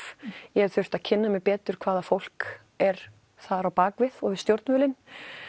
ég hef þurft að kynna mér betur hvaða fólk er þar á bakvið og við stjórnvölinn